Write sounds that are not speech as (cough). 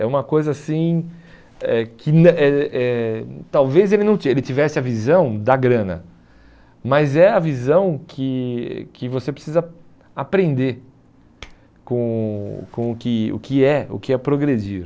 É uma coisa assim eh que (unintelligible) eh eh que talvez ele tivesse a visão da grana, mas é a visão que que você precisa aprender com com o que o que é progredir.